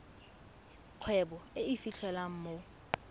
kgwebo e e fitlhelwang mo